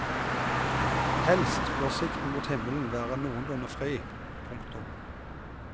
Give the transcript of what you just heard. Helst bør sikten mot himmelen være noenlunde fri. punktum